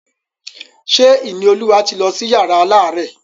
Ṣé Ìníolúwa ti lọ sí yàrá alárẹ̀?